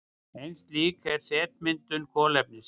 Ein slík er setmyndun kolefnis.